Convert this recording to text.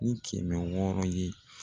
Ni kɛmɛ wɔɔrɔ ye.